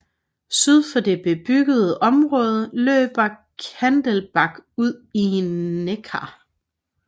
Syd for det bebyggede område løber Kandelbach ud i Neckar